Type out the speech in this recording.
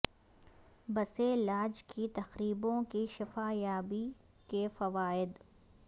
پسے لاج کی تقریبوں کی شفا یابی کے فوائد